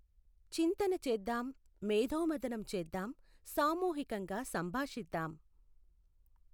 చింతన చేద్దాం, మేథోమథనం చేద్దాం, సామూహికంగా సంభాషిద్దాం.